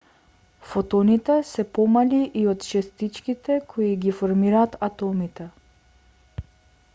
фотоните се помали и од честичките кои ги формираат атомите